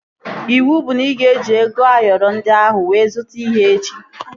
Iwu bụ na ị ga-eji ego Ayoro ndị ahụ wee zụta ihe echi!